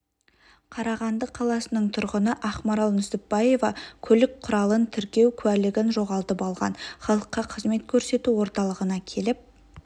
қарағанды қаласының тұрғыны ақмарал нүсіпбаева көлік құралын тіркеу куәлігін жоғалтып алған халыққа қызмет көрсету орталығына келіп